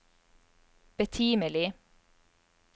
betimelig